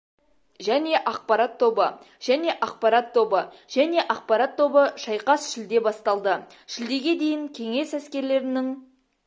және ақпарат тобы және ақпарат тобы және ақпарат тобы шайқас шілде басталды шілдеге дейін кеңес әскерлерінің